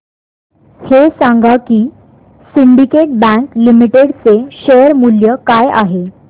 हे सांगा की सिंडीकेट बँक लिमिटेड चे शेअर मूल्य काय आहे